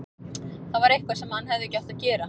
Þetta var eitthvað sem hann hefði ekki átt að gera.